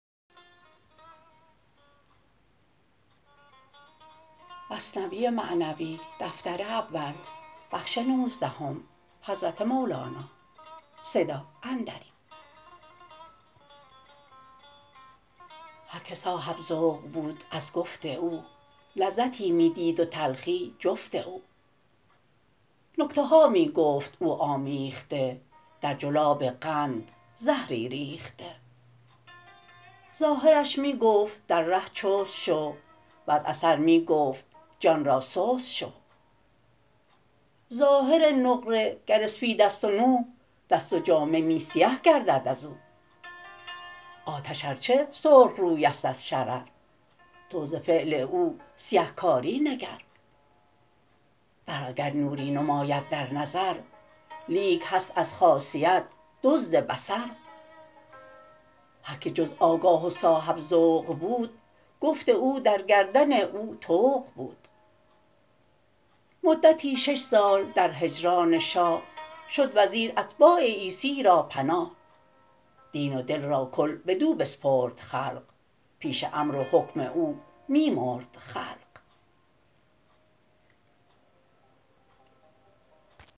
هر که صاحب ذوق بود از گفت او لذتی می دید و تلخی جفت او نکته ها می گفت او آمیخته در جلاب قند زهری ریخته ظاهرش می گفت در ره چست شو وز اثر می گفت جان را سست شو ظاهر نقره گر اسپید ست و نو دست و جامه می سیه گردد ازو آتش ار چه سرخ روی ست از شرر تو ز فعل او سیه کار ی نگر برق اگر نوری نماید در نظر لیک هست از خاصیت دزد بصر هر که جز آگاه و صاحب ذوق بود گفت او در گردن او طوق بود مدتی شش سال در هجران شاه شد وزیر اتباع عیسی را پناه دین و دل را کل بدو بسپرد خلق پیش امر و حکم او می مرد خلق